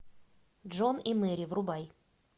джон и мэри врубай